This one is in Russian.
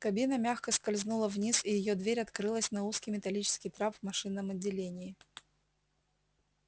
кабина мягко скользнула вниз и её дверь открылась на узкий металлический трап в машинном отделении